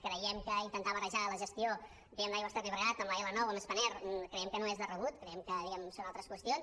creiem que intentar barrejar la gestió diguem ne d’aigües ter llobregat amb l’l9 o amb spanair no és de rebut creiem que són altres qüestions